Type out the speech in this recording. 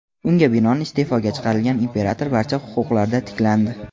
Unga binoan, iste’foga chiqarilgan imperator barcha huquqlarda tiklandi.